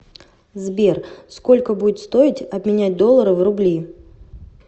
сбер сколько будет стоить обменять доллары в рубли